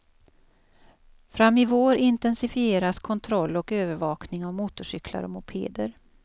Fram i vår intensifieras kontroll och övervakning av motorcyklar och mopeder.